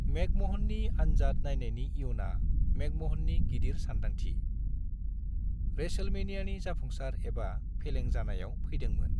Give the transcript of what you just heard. मेकम'हननि आनजाद नायनायनि इयुना मेकम'हननि गिदिर सानदांथि, रेसलमेनियानि जाफुंसार एबा फेलें जानायाव फैदोंमोन।